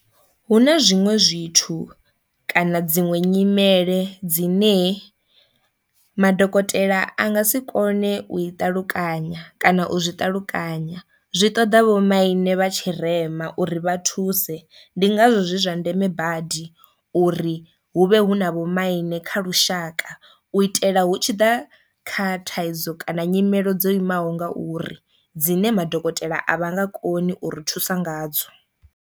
Hu na zwiṅwe zwithu kana dziṅwe nyimele dzine madokotela a nga si kone u i ṱalukanya kana u zwi ṱalukanya zwi ṱoḓa vhomaine vha tshirema uri vha thuse ndi ngazwo zwi zwa ndeme badi u uri hu vhe hu na vho maine kha lushaka u itela hu tshi ḓa kha thaidzo kana nyimelo dzo imaho ngauri dzine madokotela a vha nga koni u ri thusa nga dzo.